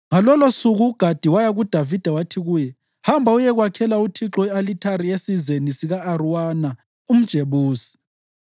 Ngalolosuku uGadi waya kuDavida wathi kuye, “Hamba uyekwakhela uThixo i-alithari esizeni sika-Arawuna umJebusi.”